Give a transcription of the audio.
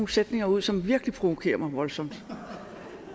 sætninger ud som virkelig provokerer mig voldsomt